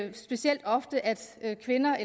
ikke specielt ofte at en kvinde